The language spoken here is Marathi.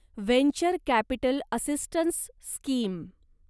venture capital assistance scheme